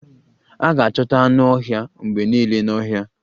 A ga-achọta anụ ọhịa mgbe niile n'ọhịa